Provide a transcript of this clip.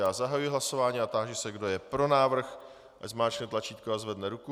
Já zahajuji hlasování a táži se, kdo je pro návrh, ať zmáčkne tlačítko a zvedne ruku.